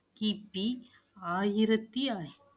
கிபி ஆயிரத்தி